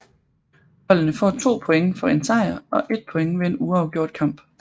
Holdene får 2 point for en sejr og 1 point ved en uafgjort kamp